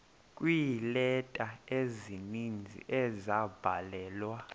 kweeleta ezininzi ezabhalelwa